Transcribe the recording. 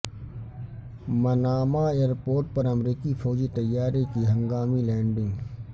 Manama airport پر امریکی فوجی طیارے کی ہنگامی لینڈنگ